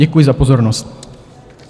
Děkuji za pozornost.